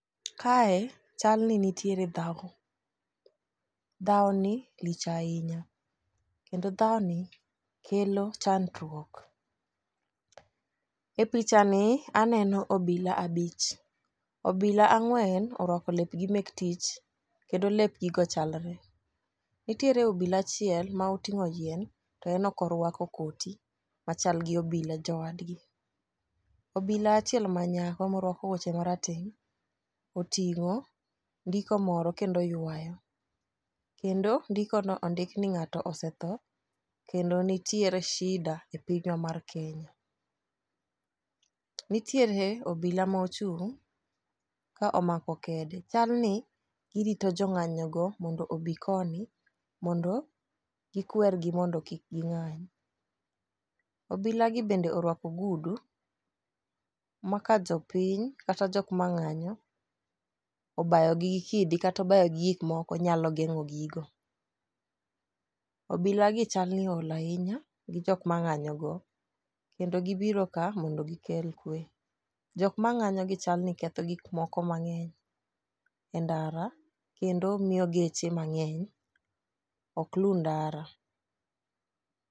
Kae chal ni nitiere dhawo, dhawo ni lich ahinya kendo dhawo ni kelo chandruok. E picha ni aneno obila abich, obila ang'wen orwako lepgi mek tich kendo lep gigo chalre. Nitiere obila achiel maoting'o yien to en ok orwako koti machal gi obila jowadgi obila achiel manyako morwako wuoche marateng' otingo ndiko moro kendo ywayo kendo ndiko no ondik ni ng'ato osetho kendo nitiere sida e pinywa mar kenya. Nitiere obila mochung' ka omako kede chal ni girito jong'anyo go mondo obi koni mondo gikwergi mondo kik ging'any. Obila gi bende orwako ogudu ma ka jopiny kata jok mang'anyo obayo gi gi kidi kato bayo gi gi gik moko onyalo geng'o gigo. Obila gi chal ni ool ahinya gi jok mang'anyo go kendo gibiro ka mondo gikel kwe. Jok mang'anyo gi chal ni ketho gik moko mang'eny e ndara kendo miyo geche mang'eny ok luw ndara.